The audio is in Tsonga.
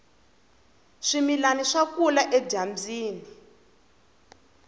swimilani swa kula edyambyini